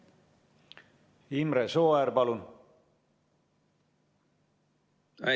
Imre Sooäär, palun!